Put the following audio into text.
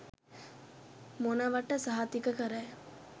මොනවට සහතික කරයි.